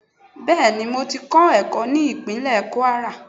bẹẹni mo tì kọ ẹkọ ni ipinle kwara.